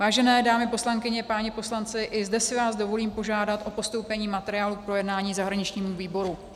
Vážené dámy poslankyně, páni poslanci, i zde si vás dovolím požádat o postoupení materiálu k projednání zahraničnímu výboru.